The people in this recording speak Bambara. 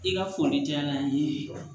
I ka foli diyara n ye